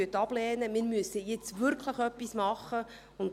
Wir müssen jetzt wirklich etwas tun.